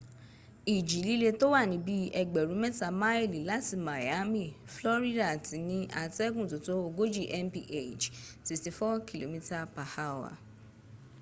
ìjì líle tó wà ní bí i ẹgbẹ̀rún mẹ́ta máìlì láti miami florida ti ní atẹ́gùn tótó ogójì mph 64 kph